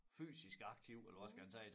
Fysisk aktiv eller hvad skal jeg sige